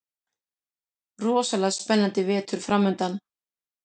Rosalega spennandi vetur framundan